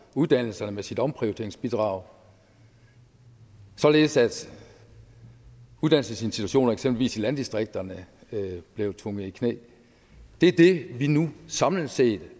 uddannelserne med sit omprioriteringsbidrag således at uddannelsesinstitutioner eksempelvis i landdistrikterne blev tvunget i knæ det er det vi nu samlet set